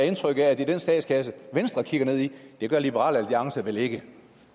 indtryk af er den statskasse venstre kigger ned i det gør liberal alliance vel ikke